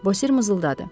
Bosir mızıldadı.